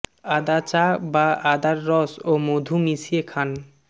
আদা চা বা আদার রস ও মধু মিশিয়ে খান